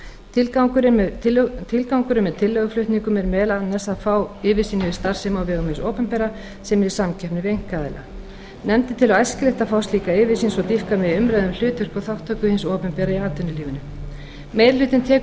tilgangurinn með tillöguflutningnum er meðal annars að fá yfirsýn yfir starfsemi á vegum hins opinbera sem er í samkeppni við einkaaðila nefndin telur æskilegt að fá slíka yfirsýn svo dýpka megi umræðu um hlutverk og þátttöku hins opinbera í atvinnulífinu meiri hlutinn tekur